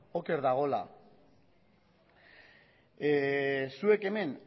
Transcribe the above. oker dagoela zuek hemen